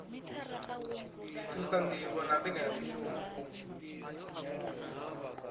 ḓi thusa ṋdivho na mbekanyamushumo